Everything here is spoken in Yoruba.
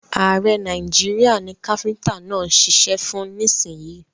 Ààrẹ Nàìjíríà ni káfíntà náà ṣiṣẹ́ fún nísìyìí.